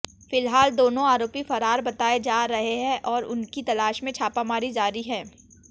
फिलहाल दोनों आरोपी फरार बताए जा रहे हैं और उनकी तलाश में छापामारी जारी है